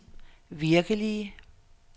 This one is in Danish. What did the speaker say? virkelige